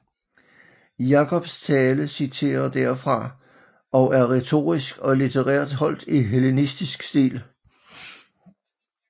Jakobs tale citerer derfra og er retorisk og litterært holdt i hellenistisk stil